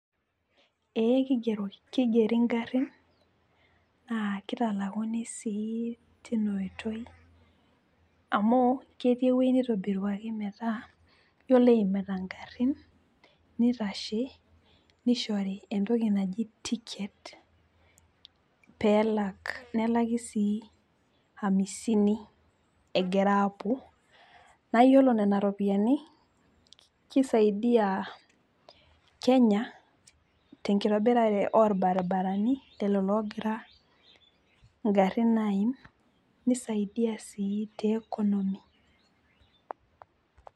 ee kigeri ngarin naa kitalakuni sii teina oitoi. amu ketii ewueji neitobiruaki metaa iyiolo eimita ngarin neitashe. nishori entoki naji ticket pee elak, nelaki sii amisini, egira appuo. naa iyiolo nena ropiyiani kisaidia, kenya tenkitobirare oolbaribarani lelo oogira, igarin aim, nisaidia sii economy.